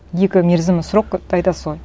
екі мерзімі срокты айтасыз ғой